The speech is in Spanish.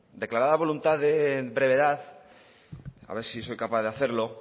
declarada voluntad de brevedad a ver si soy capaz de hacerlo